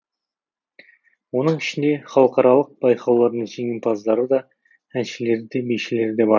оның ішінде халықаралық байқаулардың жеңімпаздары да әншілері де бишілері де бар